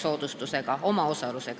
Aitäh teile!